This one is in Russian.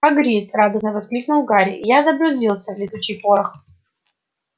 хагрид радостно воскликнул гарри я заблудился летучий порох